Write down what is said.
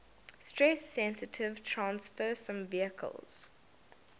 stress sensitive transfersome vesicles